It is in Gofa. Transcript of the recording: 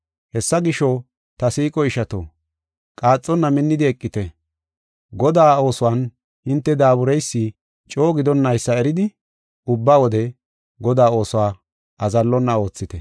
Hessa gisho, ta siiqo ishato, qaaxonna minnidi eqite. Godaa oosuwan hinte daabureysi coo gidonnaysa eridi ubba wode Godaa oosuwa azallonna oothite.